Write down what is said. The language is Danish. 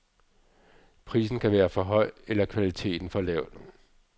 Prisen kan være for høj eller kvaliteten for lav.